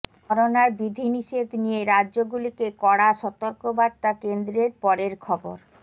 করোনার বিধিনিষেধ নিয়ে রাজ্যগুলিকে কড়া সতর্কবার্তা কেন্দ্রের পরের খবর